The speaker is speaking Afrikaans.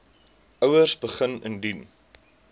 ouers begin indien